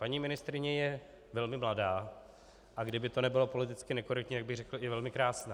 Paní ministryně je velmi mladá, a kdyby to nebylo politicky nekorektní, tak bych řekl i velmi krásná.